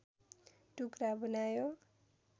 टुक्रा बनायो